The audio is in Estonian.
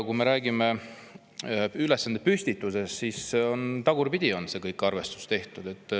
Kui me räägime ülesandepüstitusest, siis näeme, et kogu see arvestus on tagurpidi tehtud.